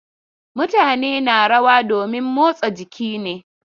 Mutane na rawa domin motsa jiki ne.